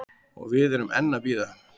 Og við erum enn að bíða